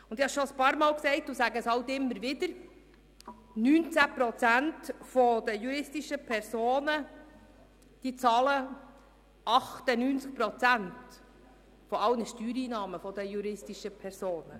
Ich habe es immer wieder gesagt und wiederhole es: 19 Prozent der juristischen Personen zahlen 98 Prozent aller Steuereinnahmen von juristischen Personen.